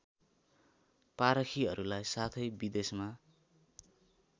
पारखीहरूलाई साथै विदेशमा